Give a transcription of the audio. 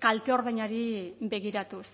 kalte ordainari begiratuz